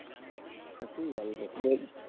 না তুই বল,